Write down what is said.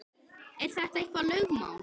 Er þetta eitthvað lögmál?